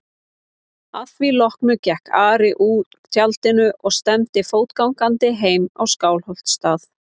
Að því loknu gekk Ari úr tjaldinu og stefndi fótgangandi heim á Skálholtsstað.